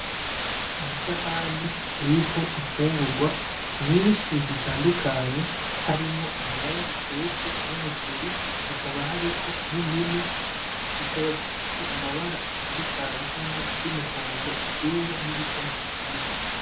Isahane iriko infungurwa nyishi zitandukanye harimwo ibiraya bitetse n'umuceri hakaba hariko n'indimu zikaba zifise amabara atandukanye harimwo iry'umuhondo, iryera ni ryicatsi kibisi